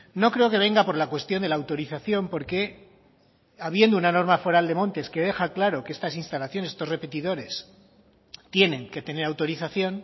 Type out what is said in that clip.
no creo que venga por la cuestión de la autorización porque habiendo una norma foral de montes que deja claro que estas instalaciones estos repetidores tienen que tener autorización